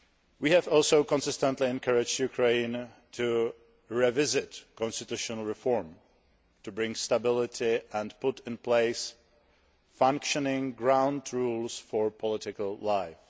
We have also consistently encouraged Ukraine to revisit constitutional reform, to bring stability and put in place functioning ground rules for political life.